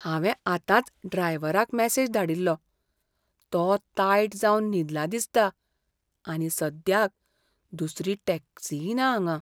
हांवें आतांच ड्रायव्हराक मॅसेज धाडिल्लो, तो तायट जावन न्हिदला दिसता आनी सद्याक दुसरीय टॅक्सी ना हांगां.